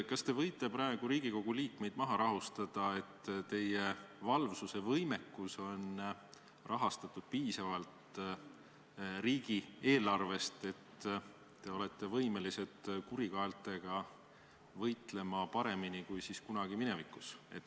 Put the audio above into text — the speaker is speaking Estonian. Kas te võite praegu Riigikogu liikmeid maha rahustada ja kinnitada, et teie valvsusevõimekus on riigieelarve abil piisavalt tagatud, nii et te olete võimelised kurikaeltega võitlema paremini kui tookord minevikus?